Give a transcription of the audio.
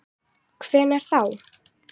Hvenær þá?